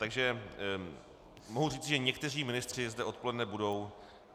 Takže mohu říci, že někteří ministři zde odpoledne budou.